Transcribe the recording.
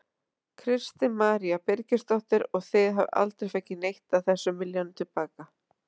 Kristín María Birgisdóttir: Og þið hafið aldrei fengið neitt af þessum milljónum til baka?